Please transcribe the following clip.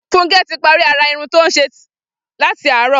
Funke ti pàrí árá irùn tó ti n ṣé làtí àárọ̀